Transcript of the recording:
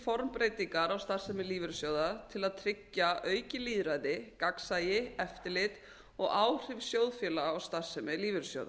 formbreytingar á starfsemi lífeyrissjóða til að tryggja aukið lýðræði gagnsæi eftirlit og áhrif sjóðfélaga á starfsemi lífeyrissjóða